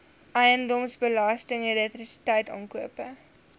eiendomsbelasting elektrisiteit aankope